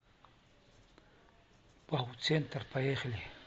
бауцентр поехали